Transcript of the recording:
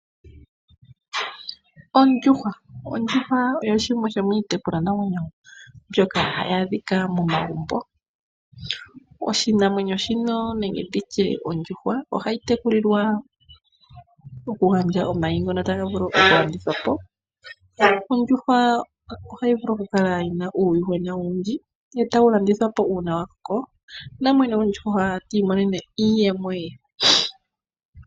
Ondjuhwa, ondjuhwa oyo shimwe shomiitekulwanamwenyo mbyoka hayi adhika momagumbo. Oshinamwenyo shino nenge nditye ondjuhwa ohayi tekulilwa okugandja omayi ngono taga vulu okulandithwa po. Ondjuhwa ohayi vulu okukala yina uuyuhwena owundji, etawu landithwa po uuna wakoko namwene gwondjuhwa ti imonene mo iiyemo ye.